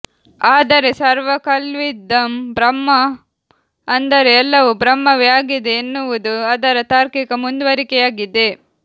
ಆದರೆ ಸರ್ವ ಖಲ್ವಿದಂ ಬ್ರಹ್ಮ ಅಂದರೆ ಎಲ್ಲವೂ ಬ್ರಹ್ಮವೇ ಆಗಿದೆ ಎನ್ನುವುದು ಅದರ ತಾರ್ಕಿಕ ಮುಂದುವರಿಕೆಯಾಗಿದೆ